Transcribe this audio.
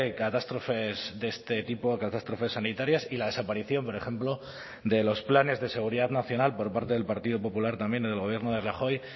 catástrofes de este tipo catástrofes sanitarias y la desaparición por ejemplo de los planes de seguridad nacional por parte del partido popular también del gobierno de rajoy